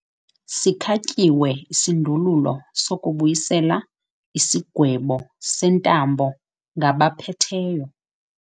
Sikhatyiwe isindululo sokubuyisela isigwebo sentambo ngabaphetheyo.